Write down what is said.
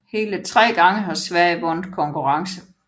Hele tre gange har Sverige vundet konkurrence